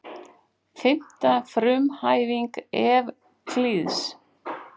Fimmta frumhæfing Evklíðs.